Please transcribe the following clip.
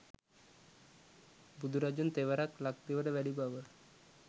බුදුරජුන් තෙවරක් ලක්දිවට වැඩි බව